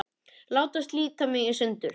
Láta slíta mig í sundur.